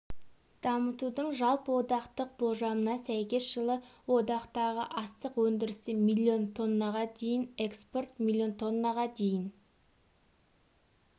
дамытудың жалпы одақтық болжамына сәйкес жылы одақтағы астық өндірісі миллион тоннаға дейін экспорт миллион тоннаға дейін